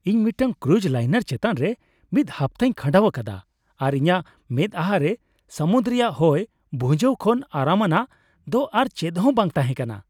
ᱤᱧ ᱢᱤᱫᱴᱟᱝ cruise liner ᱪᱮᱛᱟᱱᱨᱮ ᱢᱤᱫ ᱦᱟᱯᱛᱟᱧ ᱠᱷᱟᱸᱰᱟᱣ ᱟᱠᱟᱫᱟ, ᱟᱨ ᱤᱧᱟᱹᱜ ᱢᱮᱫᱼᱟᱦᱟᱨᱮ ᱥᱟᱹᱢᱩᱫ ᱨᱮᱭᱟᱜ ᱦᱚᱭ ᱵᱷᱩᱡᱟᱹᱣ ᱠᱷᱚᱱ ᱟᱨᱟᱢᱟᱱᱟᱜ ᱫᱚ ᱟᱨ ᱪᱮᱫ ᱦᱚᱸ ᱵᱟᱝ ᱛᱟᱦᱮᱸ ᱠᱟᱱᱟ ᱾